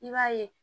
I b'a ye